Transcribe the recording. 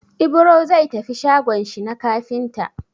Ibro zai tafi shagon shi na kafinta.